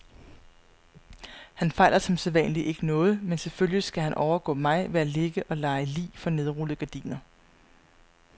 Han fejler som sædvanlig ikke noget, men selvfølgelig skal han overgå mig ved at ligge og lege lig for nedrullede gardiner.